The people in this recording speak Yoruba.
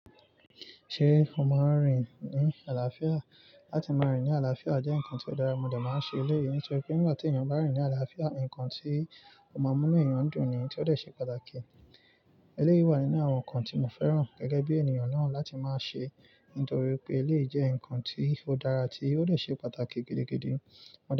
Ṣé o máa ń rìn ní àlàáfíà? Látì máa rìn ní àlàáfíà jẹ́ nnkan tí ó dára, mo dà máa ń ṣe eléyìí nítorí pé nígbà tí èèyàn bá rìn ní àlàáfíà, nnkan tí ó máa mú ni èèyàn dùn ni, tí ó dè ṣe pàtàkì. Eléyìí wà nínú àwọn nnkan tí mo fẹ́ràn gẹ́gẹ́ bí ènìyàn náà láti máa ṣe, nítorí pé eléyìí jẹ́ nnkan tí ó dára tí ó dè ṣe pàtàkì gidi gidi.